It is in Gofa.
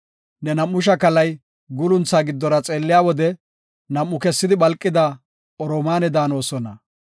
Ne nam7u shakalay guulunthaa giddora xeelliya wode, nam7u kessidi phalqida oromaane daanosona.